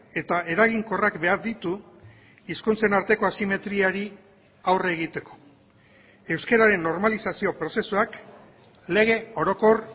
eta eraginkorrak behar ditu hizkuntzen arteko asimetriari aurre egiteko euskararen normalizazio prozesuak lege orokor